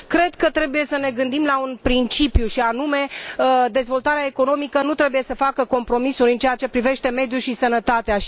Cred că trebuie să ne gândim la un principiu, și anume dezvoltarea economică nu trebuie să facă compromisuri în ceea ce privește mediul și sănătatea.